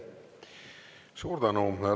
Suur tänu!